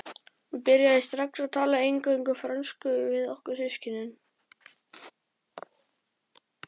Hún byrjaði strax að tala eingöngu frönsku við okkur systkinin.